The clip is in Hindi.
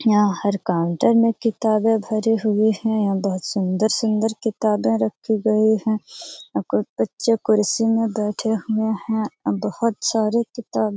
यहाँ हर काउंटर में किताबें भरी हुई है यहाँ बहुत सुंदर-सुंदर किताब रखी गई हैं कुछ बच्चे कुर्सी में बैठे हुए हैं बहुत सारे किताबें --